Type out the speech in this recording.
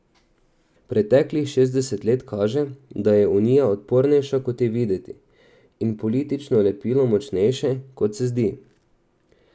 Preteklih šestdeset let kaže, da je Unija odpornejša, kot je videti, in politično lepilo močnejše, kot se zdi.